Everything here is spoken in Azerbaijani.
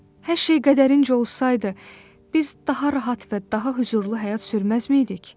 Hər şey qədərincə olsaydı, biz daha rahat və daha hüzurlu həyat sürməzdik?